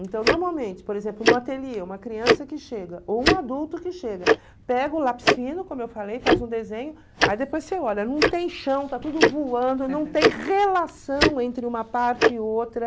Então, normalmente, por exemplo, no ateliê, uma criança que chega ou um adulto que chega, pega o lápis fino, como eu falei, faz um desenho, aí depois você olha, não tem chão, está tudo voando, não tem relação entre uma parte e outra.